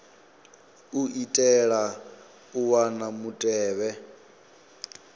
u itela u wana mutevhe